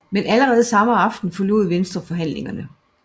Men allerede samme aften forlod Venstre forhandlingerne